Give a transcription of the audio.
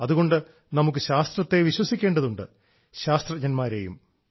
അതുകൊണ്ട് നമുക്ക് ശാസ്ത്രത്തെ വിശ്വസിക്കേണ്ടതുണ്ട് ശാസ്ത്രജ്ഞന്മാരെയും